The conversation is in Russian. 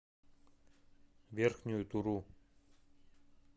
верхнюю туру